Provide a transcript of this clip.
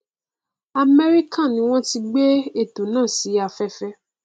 amẹríkà ni wọn ti n gbé ètò náà si afẹfẹ